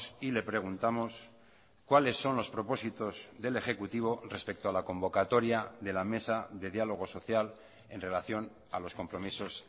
y le preguntamos cuáles son los propósitos del ejecutivo respecto a la convocatoria de la mesa de diálogo social en relación a los compromisos